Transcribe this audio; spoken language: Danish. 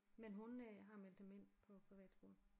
men hun øh har meldt dem ind på privatskole